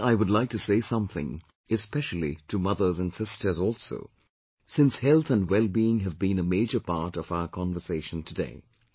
Today I would like to say something especially to mothers and sisters also, since health and wellbeing have been a major part of our conversation today